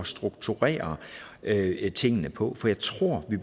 strukturere tingene på for jeg tror at vi